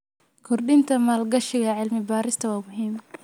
Kordhinta maalgashiga cilmi-baarista waa muhiim.